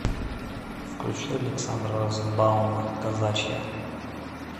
включи александра розенбаума казачья